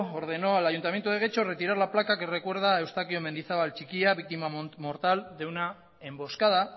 ordenó al ayuntamiento de getxo retirar la placa que recuerda a eustaquio mendizabal txikia víctima mortal de una emboscada